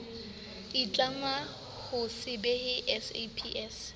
itlama ho se behe saps